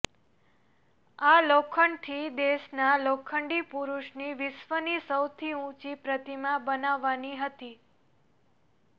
આ લોખંડથી દેશના લોખંડી પુરુષની વિશ્વની સૌથી ઉંચી પ્રતિમા બનાવવાની હતી